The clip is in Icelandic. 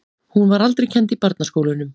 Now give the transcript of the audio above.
Hún var aldrei kennd í barnaskólunum.